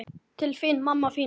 Til þín, mamma mín.